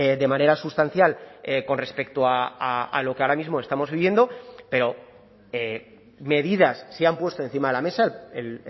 de manera sustancial con respecto a lo que ahora mismo estamos viviendo pero medidas se han puesto encima de la mesa el